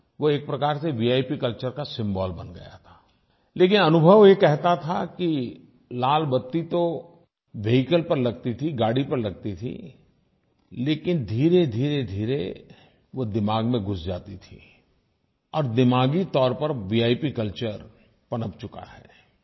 वो एक प्रकार से विप कल्चर का सिम्बोल बन गया था लेकिन अनुभव ये कहता था कि लाल बत्ती तो वेहिकल पर लगती थी गाड़ी पर लगती थी लेकिन धीरेधीरेधीरे वो दिमाग में घुस जाती थी और दिमागी तौर पर विप कल्चर पनप चुका है